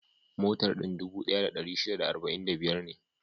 Motar din dubu ɗaya da ɗari shida da arba'in da biyar ne.